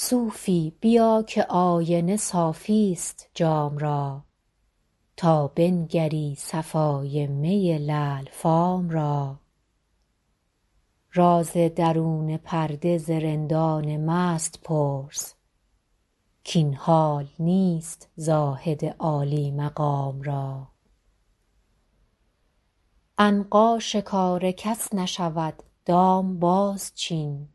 صوفی بیا که آینه صافی ست جام را تا بنگری صفای می لعل فام را راز درون پرده ز رندان مست پرس کاین حال نیست زاهد عالی مقام را عنقا شکار کس نشود دام بازچین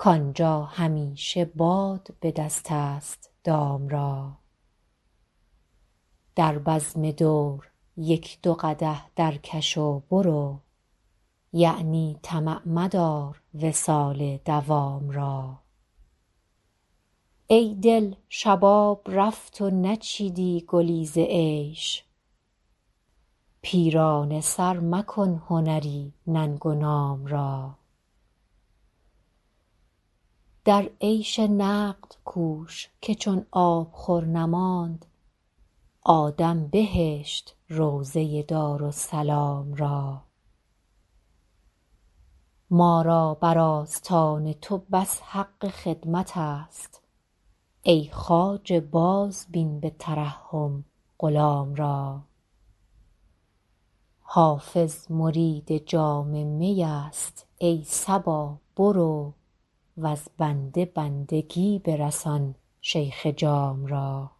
کآنجا همیشه باد به دست است دام را در بزم دور یک دو قدح درکش و برو یعنی طمع مدار وصال مدام را ای دل شباب رفت و نچیدی گلی ز عیش پیرانه سر مکن هنری ننگ و نام را در عیش نقد کوش که چون آبخور نماند آدم بهشت روضه دارالسلام را ما را بر آستان تو بس حق خدمت است ای خواجه بازبین به ترحم غلام را حافظ مرید جام می است ای صبا برو وز بنده بندگی برسان شیخ جام را